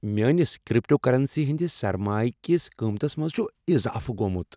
میٲنس کریپٹوکرنسی ہندِس سرمایہ كِس قۭمتس منٛز چُھ اضافہٕ گومُت۔